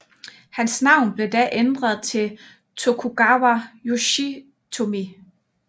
Hans navn blev da ændret til Tokugawa Yoshitomi